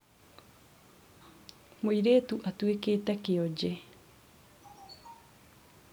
mũirĩtu atuĩkĩte kĩonje